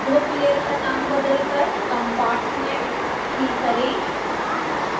group layer का नाम बदलकर compartment3 करें